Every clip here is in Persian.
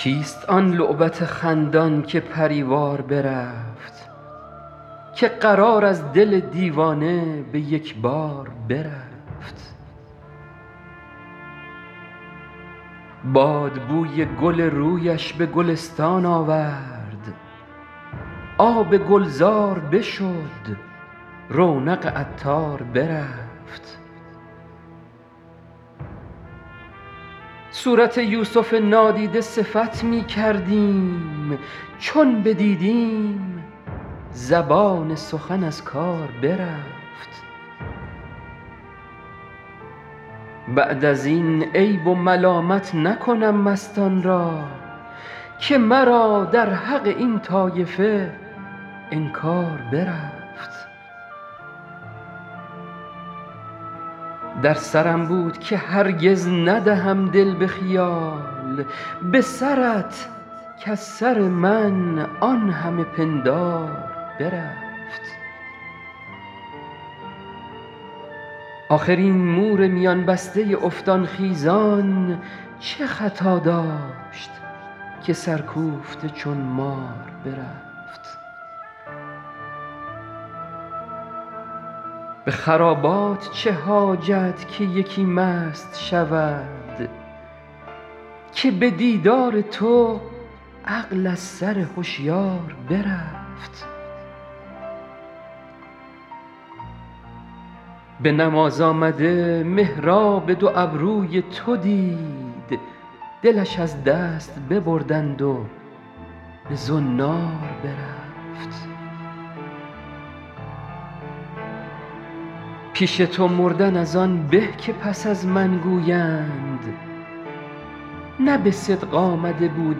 کیست آن لعبت خندان که پری وار برفت که قرار از دل دیوانه به یک بار برفت باد بوی گل رویش به گلستان آورد آب گلزار بشد رونق عطار برفت صورت یوسف نادیده صفت می کردیم چون بدیدیم زبان سخن از کار برفت بعد از این عیب و ملامت نکنم مستان را که مرا در حق این طایفه انکار برفت در سرم بود که هرگز ندهم دل به خیال به سرت کز سر من آن همه پندار برفت آخر این مور میان بسته افتان خیزان چه خطا داشت که سرکوفته چون مار برفت به خرابات چه حاجت که یکی مست شود که به دیدار تو عقل از سر هشیار برفت به نماز آمده محراب دو ابروی تو دید دلش از دست ببردند و به زنار برفت پیش تو مردن از آن به که پس از من گویند نه به صدق آمده بود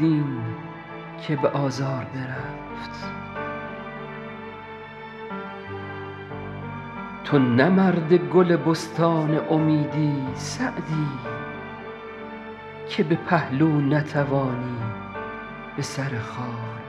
این که به آزار برفت تو نه مرد گل بستان امیدی سعدی که به پهلو نتوانی به سر خار برفت